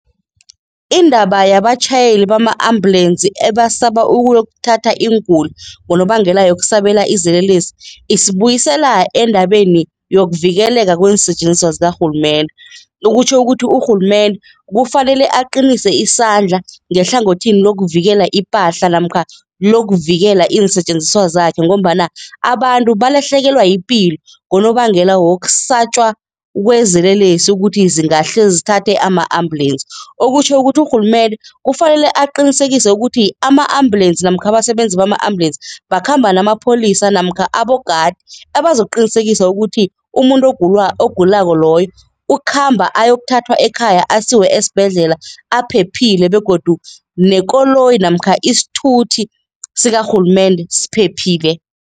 Indaba yabatjhayeli bama-ambulensi ebasaba ukuyokuthatha iinguli ngonobangela yokusabela izelelesi, isibuyisela endabeni yokuvikeleka kweensetjenziswa zikarhulumende. Kutjho ukuthi urhulumende kufanele aqinise isandla ngehlangothini lokuvikela ipahla namkha lokuvikela iinsetjenziswa zakhe ngombana abantu balahlekelwa yipilo ngonobangela wokusatjwa kwezelelesi ukuthi zingahleki zithathe ama-ambulensi, okutjho ukuthi urhulumende kufanele aqinisekise ukuthi ama-ambulensi namkha abasebenzi bama-ambulensi bakhamba namapholisa namkha abogadi abazokuqinisekisa ukuthi umuntu ogulako loyo ukhamba ayokuthathwa ekhaya, asiwe esibhedlela aphephile begodu nekoloyi namkha isithuthi sikarhulumende siphephile.